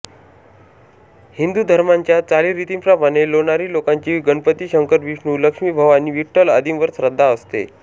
हिंदू धर्माच्या चालीरीतींप्रमाणे लोणारी लोकांची गणपती शंकर विष्णू लक्ष्मी भवानी विठ्ठल आदींवर श्रद्धा असते